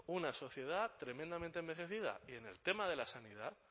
una sociedad tremendamente envejecida